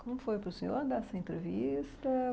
Como foi para o senhor dar essa entrevista?